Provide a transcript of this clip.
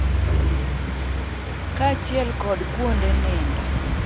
Kaachiel kod kuonde nindo.